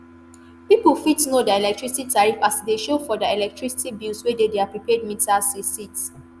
pipo fit know dia electricity tariff as e dey show for dia electricity bills wey dey dia prepaid meters receipts